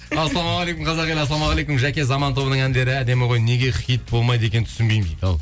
ассалаумағалейкум қазақ елі ассаламауғалейкум жаке заман тобының әндері әдемі ғой неге хит болмайды екен түсінбеймін дейді ал